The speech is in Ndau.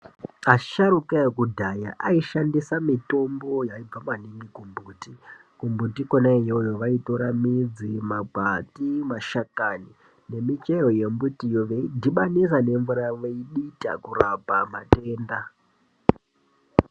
Asharuka ekudhaya aishandisa mitombo yaibva maningi kumbuti, kumbuti kona iyoyo vaitora midzi, makwati mashakani nemichero yembitiyo veidhibanisa nemvura veidita kurapa matenda.